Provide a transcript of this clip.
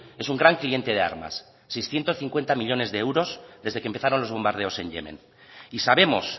es un gran cliente de armas seiscientos cincuenta millónes de euros desde que empezaron los bombardeos en yemen y sabemos